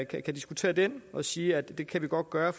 kan diskutere den og sige at det kan vi godt gøre